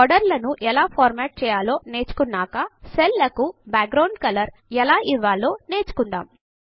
border లను ఎలా format చేయాలో నేర్చుకున్నాక సెల్స్ కు బాక్ గ్రౌండ్ కలర్ ఎలా ఇవ్వాలో నేర్చుకుందాము